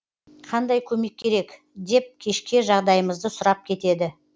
қандай көмек керек деп кешке жағдайымызды сұрап кетеді